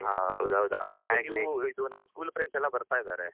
ಹೌದೌದು. ಇದುನಮ್ಮ್ school friends ಎಲ್ಲ ಬರ್ತಾ ಇದ್ದಾರೆ.